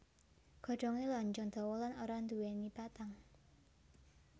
Godhongé lonjong dawa lan ora nduwèni batang